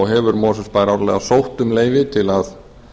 hefur mosfellsbær árlega sótt um leyfi til að